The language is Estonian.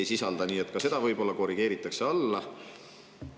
Ka seda võib-olla korrigeeritakse alla.